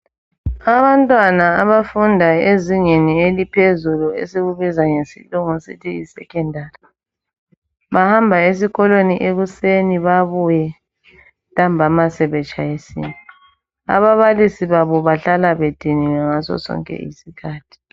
Abantwana abafunda ezingeni eliphezulu esikubiza ngesilungu sithi yi secondary bahamba esikolweni ekuseni babuye ntambama sebetshayisile ababalisi babo bahlala bediniwe ngaso sonke isikhathi